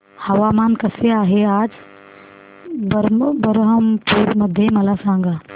हवामान कसे आहे आज बरहमपुर मध्ये मला सांगा